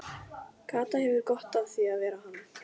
Kata hefur gott af því að vera hann.